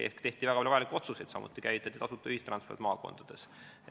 Ehk tehti väga palju vajalikke otsuseid, samuti käivitati tasuta ühistransport maakondades.